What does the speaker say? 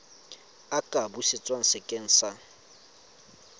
a ka busetswa sekeng sa